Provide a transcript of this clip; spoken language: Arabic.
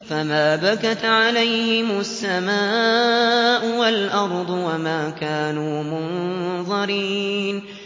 فَمَا بَكَتْ عَلَيْهِمُ السَّمَاءُ وَالْأَرْضُ وَمَا كَانُوا مُنظَرِينَ